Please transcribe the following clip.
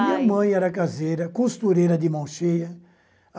Minha mãe era caseira, costureira de mão cheia.